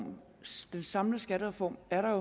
i den samlede skattereform er der